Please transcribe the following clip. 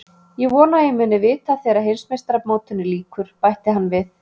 Ég vona að ég muni vita að þegar Heimsmeistaramótinu lýkur, bætti hann við.